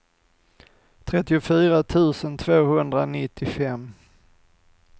trettiofyra tusen tvåhundranittiofem